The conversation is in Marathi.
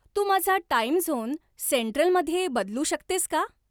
तू माझा टाइम झोन सेंट्रलमध्ये बदलू शकतेस का